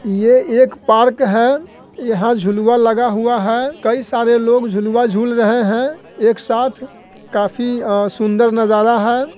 ये एक पार्क है यहाँ झुलवा लगा हुआ है कई सारे लोग झुलवा झूल रहे है एक साथ काफी अ सुंदर नजारा है।